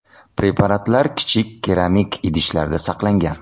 Preparatlar kichik keramik idishlarda saqlangan.